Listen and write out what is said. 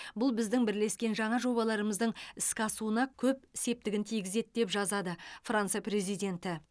бұл біздің бірлескен жаңа жобаларымыздың іске асуына көп септігін тигізеді деп жазады франция президенті